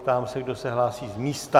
Ptám se, kdo se hlásí z místa.